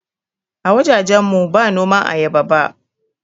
A wajajen mu ba noman ayaba ba